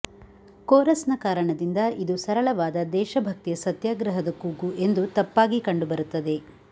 ಕೋರಸ್ನ ಕಾರಣದಿಂದ ಇದು ಸರಳವಾದ ದೇಶಭಕ್ತಿಯ ಸತ್ಯಾಗ್ರಹದ ಕೂಗು ಎಂದು ತಪ್ಪಾಗಿ ಕಂಡುಬರುತ್ತದೆ